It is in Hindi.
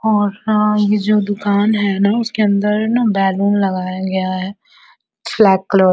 और हाँ ये जो दुकान है ना उसके अंदर ना बैलून लगाया गया है फ्लैग कलर --